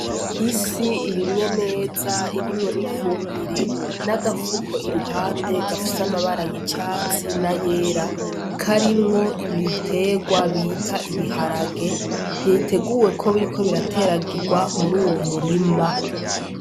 Isi irimye neza irimwo n'ifumbire n'agafuko iruhande gafise amabara y'icatsi na yera, karimwo ibiterwa bita ibiharage, biteguwe yuko biriko birateragirwa muri uyo murima.